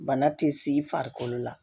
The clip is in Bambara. Bana ti s'i farikolo la